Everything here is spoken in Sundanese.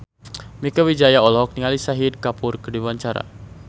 Mieke Wijaya olohok ningali Shahid Kapoor keur diwawancara